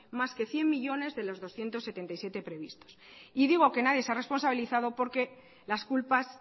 más que cien millónes de los doscientos setenta y siete previstos y digo que nadie se ha responsabilizado porque las culpas